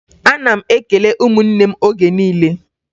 Ana m ekele ụmụnne m oge niile